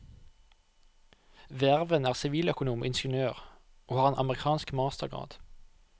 Hverven er siviløkonom og ingeniør, og har en amerikansk mastergrad.